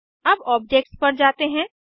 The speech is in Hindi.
अब ऑब्जेक्ट्स पर जाते हैं